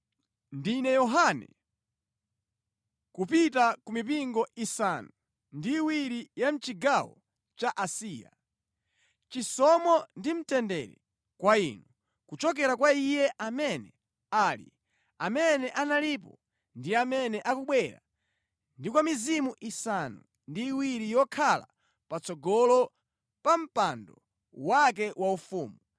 Ndine Yohane, Kupita ku mipingo isanu ndi iwiri ya mʼchigawo cha Asiya. Chisomo ndi mtendere kwa inu, kuchokera kwa Iye amene ali, amene analipo ndi amene akubwera ndi kwa mizimu isanu ndi iwiri yokhala patsogolo pa mpando wake waufumu,